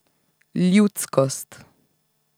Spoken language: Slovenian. Ljudskost.